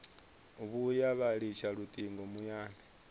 vhuya vha litsha lutingo muyani